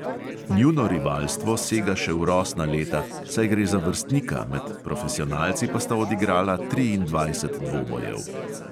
Njuno rivalstvo sega še v rosna leta, saj gre za vrstnika, med profesionalci pa sta odigrala triindvajset dvobojev.